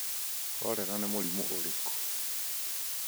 Korera nĩ mũrimũ ũrĩkũ?